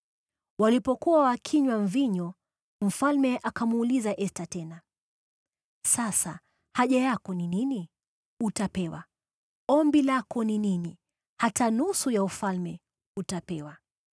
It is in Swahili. Walipokuwa wakinywa mvinyo mfalme akamuuliza Esta tena, “Sasa haja yako ni nini? Utapewa. Ombi lako ni nini? Hata nusu ya ufalme, utapewa.”